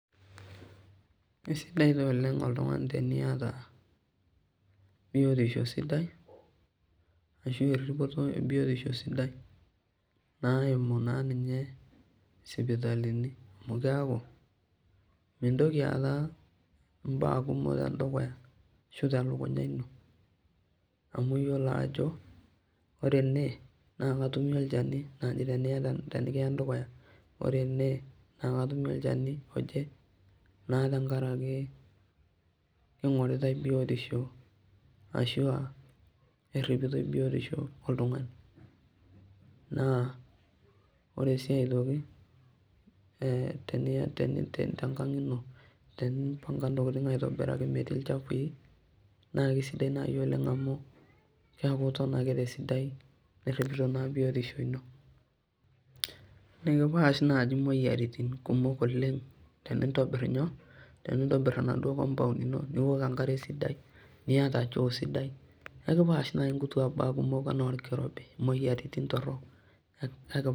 Kesidai taa oleng otlung'ani teniata biotisho sidai ashu eripoto ebiotisho sidai naimu ninye sipitalini amu keaku mintoki aata mbaa kumok telukunya ino ore ene na kadumu olchanu oje na tenkaraki ingoritae biotisho oltungani na ore so aitoki tenkang ino tenimpanga ntokitin aitobiraki metaa metii olchafu na kesidai oleng amu keaku iton tesidai niripito biotisho ino nikipash moyiaritin tenintobir esidai niok enkare sidai niata shoo sidai akipash nkutu anaa orkirobi moyiaritin torok.